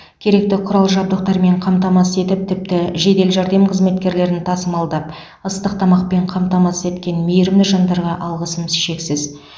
керекті құрал жабдықтармен қамтамасыз етіп тіпті жедел жәрдем қызметкерлерін тасымалдап ыстық тамақпен қамтамасыз еткен мейірімді жандарға алғысым шексіз